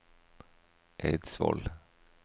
Eidsvoll